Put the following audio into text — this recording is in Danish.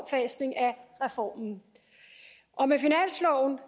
reformen og med finansloven